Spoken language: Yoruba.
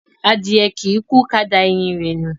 Adìye kìí kú ka da ẹyin rẹ̀ nù.